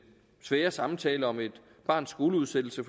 svære samtale om et barns skoleudsættelse